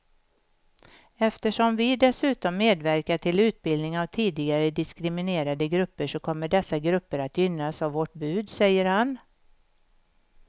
Eftersom vi dessutom medverkar till utbildning av tidigare diskriminerade grupper så kommer dessa grupper att gynnas av vårt bud, säger han.